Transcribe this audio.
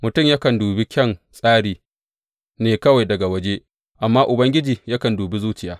Mutum yakan dubi kyan tsari ne kawai daga waje, amma Ubangiji yakan dubi zuciya.